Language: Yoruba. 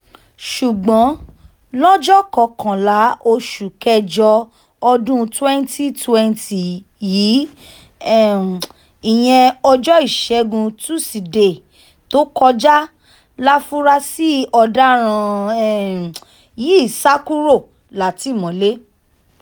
ṣùgbọ́n lọ́jọ́ kọkànlá oṣù kẹjọ ọdún twenty twenty yìí um ìyẹn ọjọ́ ìṣẹ́gun tusidee tó kọjá láforasí ọ̀daràn um yìí sá kúrò látìmọ́lé